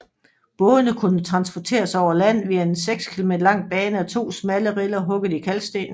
Bådene kunne transporteres over land via en seks km lang bane af to smalle riller hugget i kalkstenen